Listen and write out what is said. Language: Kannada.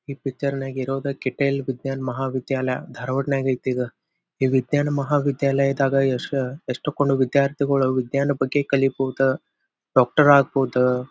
ಈ ಪಿಕ್ಚರ್ ನಗೆ ಇರೋದ ಕಿಥೈಲ್ ವಿಜ್ಞಾನ ಮಹಾ ವಿದ್ಯಾಲಯ ಧಾರ್ವಾಡ್ನ್ಯಾಗೆ ಐತಿ ಇದು. ಈ ವಿಜ್ನ್ಯಾನ ಮಹಾವಿದ್ಯಾಲಯದಾಗ ಯೆಸ್ಟ್ ಕುಂದ್ ವಿದ್ಯಾರ್ಥಿಗಳು ವಿಜ್ನ್ಯಾನ ಬಗ್ಗೆ ಕಲೀಬಹುದು ಡಾಕ್ಟರ್ ಆಗ್ಬಹುದು.